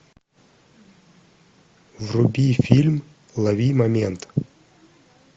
вруби фильм лови момент